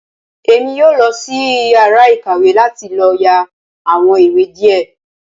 Èmí yóò losí iyàrá ìkàwé láti lò yá àwon ìwé diẹ